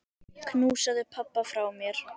Knúsaðu pabba frá mér.